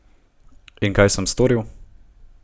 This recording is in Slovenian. In kaj sem storil?